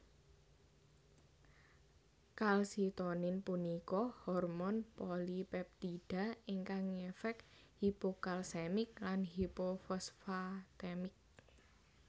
Kalsitonin punika hormon polipeptida ingkang ngefek hipokalsemik lan hipofosfatemik